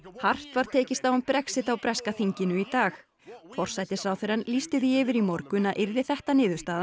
hart var tekist á um Brexit á breska þinginu í dag forsætisráðherrann lýsti því yfir í morgun að yrði þetta niðurstaðan